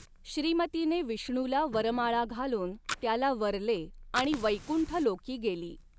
श्रीमतीने विष्णूला वरमाळा घालून त्याला वरले आणि वैकुंठलोकी गेली.